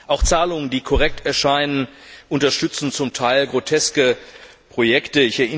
Auch Zahlungen, die korrekt erscheinen, unterstützen zum Teil groteske Projekte.